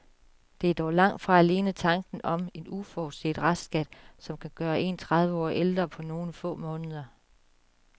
Det er dog langt fra alene tanken om en uforudset restskat, som kan gøre en tredive år ældre på nogle få måneder.